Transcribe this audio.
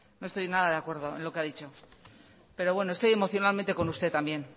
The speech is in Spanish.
no estoy nada de acuerdo en lo que ha dicho pero estoy emocionalmente con usted también